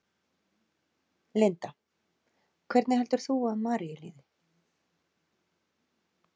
Linda: Hvernig heldur þú að Maríu líði?